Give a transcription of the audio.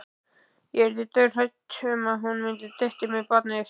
Ég yrði dauðhrædd um að hún dytti með barnið.